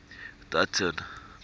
dutton